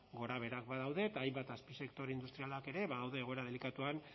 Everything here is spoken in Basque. gorabeherak badaude eta hainbat azpisektore industrialak ere badaude egoera delikatuan